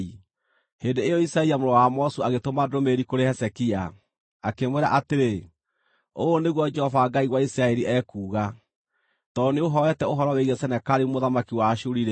Hĩndĩ ĩyo Isaia mũrũ wa Amozu agĩtũma ndũmĩrĩri kũrĩ Hezekia, akĩmwĩra atĩrĩ: “Ũũ nĩguo Jehova Ngai wa Isiraeli ekuuga: Tondũ nĩũũhooete ũhoro wĩgiĩ Senakeribu mũthamaki wa Ashuri-rĩ,